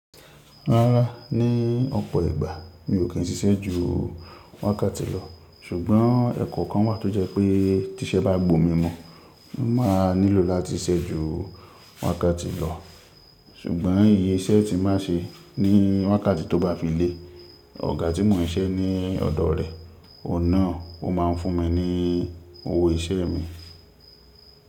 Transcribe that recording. Rárá, ni ọ̀pọ̀ ìgbà mi ò kí ń ṣiṣẹ́ ju wákàtí lọ ṣùgbọ́n ẹ̀kọ́ kan wà tó jẹ́ pé tí iṣẹ́ bá gbó mi mu, mo máa nílò láti ṣẹ́ ju wákàtí lọ. Ṣùgbọ́n iye iṣẹ́ tí máa ṣe ní wákàtí tó bá fi lé, ọ̀gá tí mò ń ṣiṣẹ́ ní ọ̀dọ̀ rẹ̀, ọ̀hun nà ọ máa ń fún mi ní owó iṣẹ́ mi.